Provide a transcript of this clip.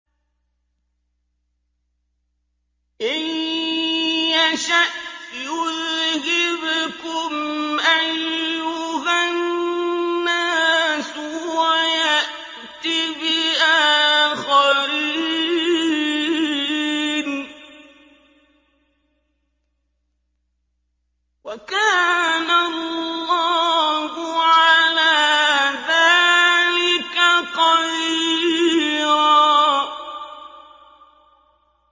إِن يَشَأْ يُذْهِبْكُمْ أَيُّهَا النَّاسُ وَيَأْتِ بِآخَرِينَ ۚ وَكَانَ اللَّهُ عَلَىٰ ذَٰلِكَ قَدِيرًا